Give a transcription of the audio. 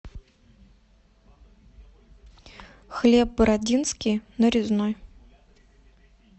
хлеб бородинский нарезной